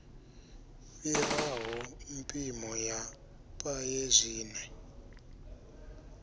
fhiraho mpimo ya paye zwine